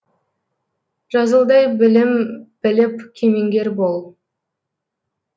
жазылдай білім біліп кемеңгер бол